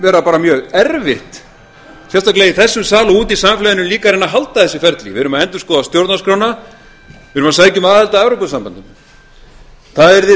vera bara mjög erfitt sérstaklega í þessum sal og úti í samfélaginu líka að reyna að halda þessu ferli við erum að endurskoða stjórnarskrána við erum að sækja um aðild að evrópusambandinu það yrði